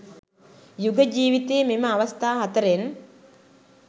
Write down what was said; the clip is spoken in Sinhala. යුග ජීවිතයේ මෙම අවස්ථා හතරෙන්